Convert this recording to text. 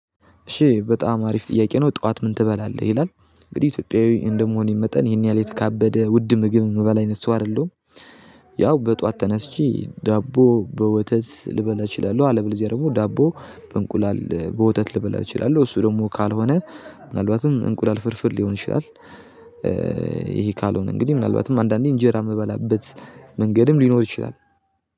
እሺ በጣም አሪፍ ጥያቄ ነው ጠዋት ምን ትበላለህ ይላል? እንግዲህ ኢትዮጵያዊ እንደመሆኔ መጠን ይሄን ያህል የተካበደ ውድ ምግብ የምበል አይነት ሰው አይደለሁም። ያው በጥዋት ተነስቼ ዳቦ በወተት ልበላ እችላለሁ። አለበለዚያ ደግሞ ዳቦ በእንቁላል በወተት ልበላት እችላለሁ። እሱ ደግሞ ካልሆነ ምናልባትም እንቁለል ፍርፍር ሊሆን ይችላል። ይሄ ካልሆነ እንግዲህ ምናልባትም አንዳንዴ እንጀራ የምበላበት መንገድም ሊኖር ይችላል።